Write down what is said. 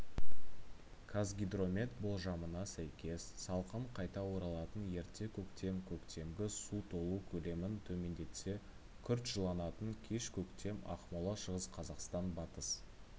қазгидромет болжамына сәйкес салқын қайта оралатын ерте көктем көктемгі су толу көлемін төмендетсе күрт жылынатын кеш көктем ақмола шығыс қазақстан батыс